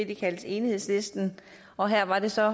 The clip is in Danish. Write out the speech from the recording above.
de kaldte enighedslisten og her var det så